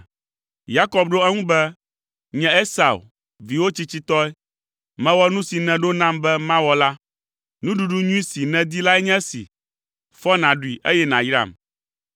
Yakob ɖo eŋu be, “Nye Esau, viwò tsitsitɔe. Mewɔ nu si nèɖo nam be mawɔ la. Nuɖuɖu nyui si nèdi lae nye esi. Fɔ nàɖui eye nàyram.”